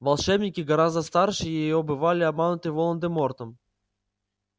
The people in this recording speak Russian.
волшебники гораздо старше её бывали обмануты волан-де-мортом